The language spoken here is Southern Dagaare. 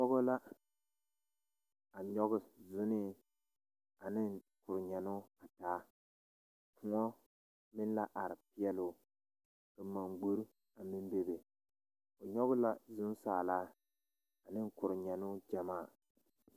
Pɔɡɔ la a nyɔɡe zonnee ane korenyɛnnoo taa kōɔ meŋ la are peɛle o ka manɡbori a meŋ bebe o nyɔɡe la zonsaalaa ane kurinyɛnnoo ɡyamaa.